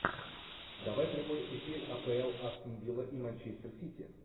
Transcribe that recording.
давай прямой эфир апл астон вилла и манчестер сити